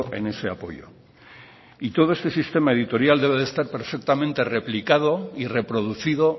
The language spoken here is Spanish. en ese apoyo y todo este sistema editorial debe de estar perfectamente replicado y reproducido